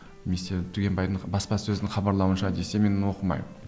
немесе түгенбайдың басқа сөзін хабарлауынша десе мен оқымаймын